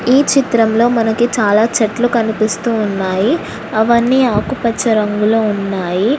ఈ చిత్రంలో మనకి చాలా చెట్లు కనిపిస్తున్నాయి అవన్నీ ఆకుపచ్చ రంగులో ఉన్నాయి.